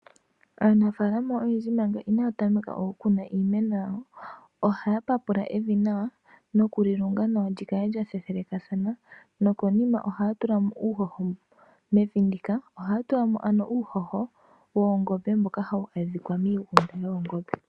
Aanafaalama oyendji manga inaya tameka oku kuna iimeno yawo, ohaya papula evi nawa, noku li lunga nawa lyi kale lya thethelekana, nokonima ohaya tulamo uuhoho mevi ndika, ohaya tulamo ano uuhoho woongombe, mboka hawu adhika miiigunda yoongombe.